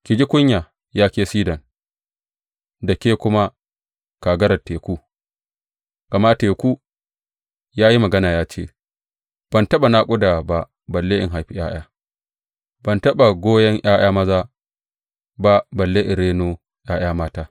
Ki ji kunya, ya ke Sidon, da ke kuma, kagarar teku, gama teku ya yi magana ya ce, Ban taɓa naƙuda ba balle in haifi ’ya’ya; ban taɓa goyon ’ya’ya maza ba balle in reno ’ya’ya mata.